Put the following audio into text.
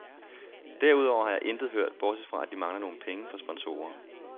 Derudover har jeg intet hørt, bortset fra at de mangler nogle penge fra sponsorer.